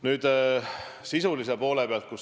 Nüüd sisulise poole pealt.